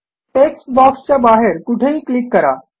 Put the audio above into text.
text बॉक्सच्या बाहेर कुठेही क्लिक करा